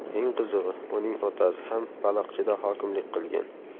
Eng qizig‘i, uning otasi ham Baliqchida hokimlik qilgan.